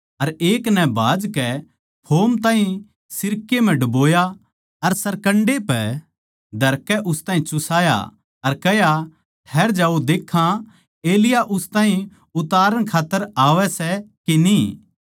अर एक नै भाजकै फोम ताहीं सिरके म्ह ड्बोया अर सरकण्डे पै धरकै उस ताहीं चुसाया अर कह्या ठैहर जाओ देक्खां एलिय्याह उस ताहीं उतारण खात्तर आवै सै के न्ही